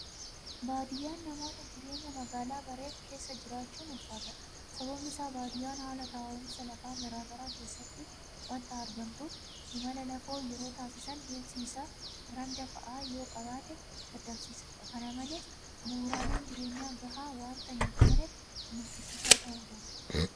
Baadiyyaan namoota jireenya magaalaa bareef keessa jiraachuun ulfaataadha. sababni isaas baadiyyaan haala taa'umsa lafaa garaa garaa keessatti waanta argamtuuf imala lafoo yeroo taasisan deemsi isaa randa fa'aa yooqabaate dadhabsiisaadha. Kana malees bu'uuraaleen jireenyaa gahaa waanta hintaaneef nuffisiisaa ta'uu danda'a.